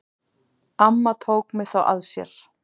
Amma tók mig þá að sér.